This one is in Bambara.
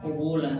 O b'o la